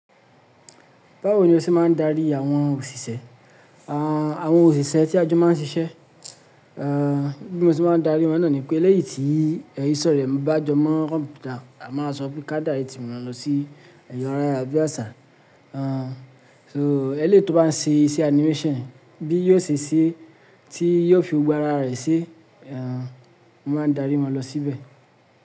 Báwo ni o ṣe máa ń darí àwọn òṣìṣẹ́, àwọn òṣìṣẹ́ tí a jọ máa ń ṣiṣẹ́? Bí mo ṣe máa ń darí wọn náà ni pé eléyìí tí íse rẹ̀ bá jọ mọ́ kọ̀mpútà, a máa sọ pé ká direct won lọ sí ẹ̀rọ̀ ayara bí àṣà. So eléyi ti ò bá ń ṣe iṣẹ́ animation bí yóò ṣe ṣe tí yóò fi gbogbo ara rẹ̀ se, mo máa n darí wọn lọ síbẹ̀